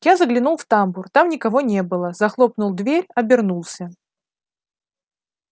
я заглянул в тамбур там никого не было захлопнул дверь обернулся